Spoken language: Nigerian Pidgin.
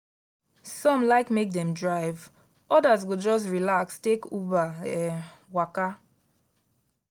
some like make dem drive others go just relax take uber um waka.